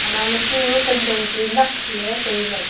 naule chu kantong chu nakhle taile.